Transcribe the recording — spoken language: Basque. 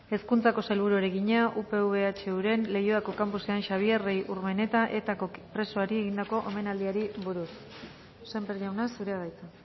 hezkuntzako sailburuari egina upv ehuren leioako campusean xabier rey urmeneta etako presoari egindako omenaldiari buruz sémper jauna zurea da hitza